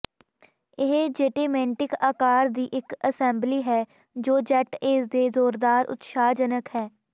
ਇਹ ਜੈਟੇਮੈਂਟਿਕ ਆਕਾਰ ਦੀ ਇੱਕ ਅਸੈਂਬਲੀ ਹੈ ਜੋ ਜੈੱਟ ਏਜ ਦੇ ਜ਼ੋਰਦਾਰ ਉਤਸ਼ਾਹਜਨਕ ਹੈ